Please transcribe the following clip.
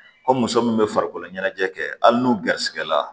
Ko muso min bɛ farikolo ɲɛnajɛ kɛ hali n'u garisigɛ la